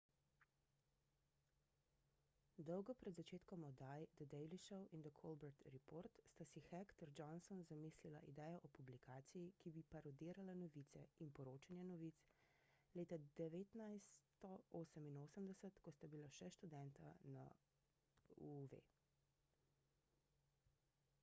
dolgo pred začetkom oddaj the daily show in the colbert report sta si heck ter johnson zamislila idejo o publikaciji ki bi parodirala novice – in poročanje novic – leta 1988 ko sta bila študenta na uw